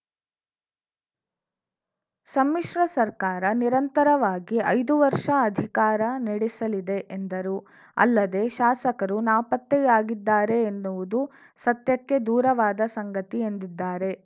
ಸಮ್ಮಿಶ್ರ ಸರ್ಕಾರ ನಿರಾತಂಕವಾಗಿ ಐದು ವರ್ಷ ಅಧಿಕಾರ ನಡೆಸಲಿದೆ ಎಂದರು ಅಲ್ಲದೆ ಶಾಸಕರು ನಾಪತ್ತೆಯಾಗಿದ್ದಾರೆ ಎನ್ನುವುದೂ ಸತ್ಯಕ್ಕೆ ದೂರವಾದ ಸಂಗತಿ ಎಂದಿದ್ದಾರೆ